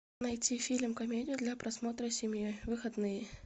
найти фильм комедию для просмотра семьей в выходные